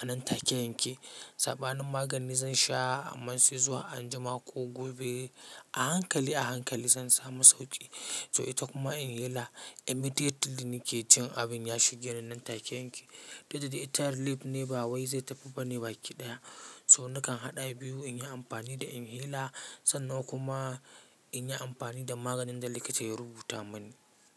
a nan take yake. Sabanin magani zan sha aman sai zuwa anjima ko gobe a hankali a hankali zan samu sauƙi. So ita kuma inhaler immediately nake jin abin ya shige ni nan take yake. Didda dai ita relief ne ba wai zai tafi bane baki ɗaya so nakan haɗa biyu in yi amfani da inhaler sannan kuma in yi amfani da maganin da likita ya rubuta mani.